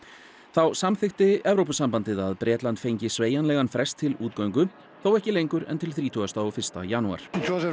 þá samþykkti Evrópusambandið að Bretland fengi sveigjanlegan frest til útgöngu þó ekki lengur en til þrítugasta og fyrsta janúar Johnson